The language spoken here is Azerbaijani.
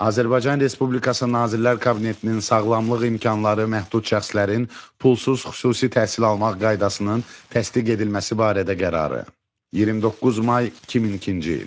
Azərbaycan Respublikası Nazirlər Kabinetinin sağlamlıq imkanları məhdud şəxslərin pulsuz xüsusi təhsil almaq qaydasının təsdiq edilməsi barədə qərarı, 29 may 2002-ci il.